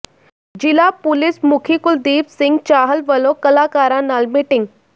ਜ਼ਿਲ੍ਹਾ ਪੁਲਿਸ ਮੁਖੀ ਕੁਲਦੀਪ ਸਿੰਘ ਚਾਹਲ ਵਲੋਂ ਕਲਾਕਾਰਾਂ ਨਾਲ ਮੀਟਿੰਗ